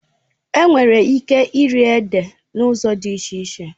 Enwere ike iri ede n'ụzọ dị iche iche